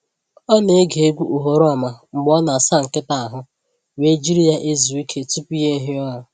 Ọ na-ege egwu oghoroma mgbe ọ na-asa nkịta ahụ wee jiri ya ezu ike tupu ya ehie ụra.